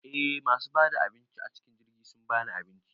Eh masu bada abinci acikin jirgi sun bani abinci